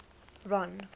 ron